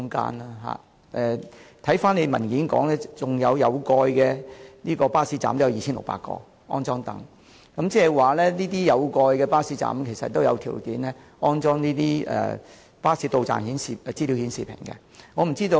而且，主體答覆亦指出，有共約2600個有蓋巴士站將安裝座椅，換言之，這些有蓋巴士站亦有條件安裝實時巴士到站資訊顯示屏。